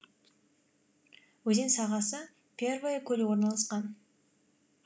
өзен сағасы первое көлі орналасқан